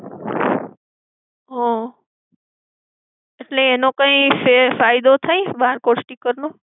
હમ્મ. એટલે એનો કંઈ ફાયદો થાય barcode sticker નો?